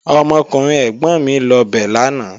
Ọmọkùnrin ẹ̀gbọ̀n mi lọ bẹ̀ lánàá